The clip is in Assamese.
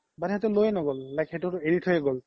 মানে সিহতে লৈয়ে ন্'গল সেইতো এৰি থইয়ে গ'ল